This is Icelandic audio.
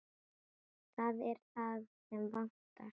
Það er það sem vantar.